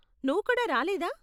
నువ్వు కూడా రాలేదా?